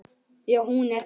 Já, hún er það.